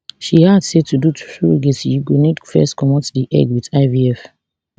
she add say to do surrogacy you go need first comot di egg wit ivf